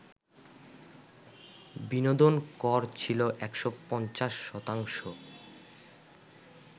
বিনোদন কর ছিল ১৫০ শতাংশ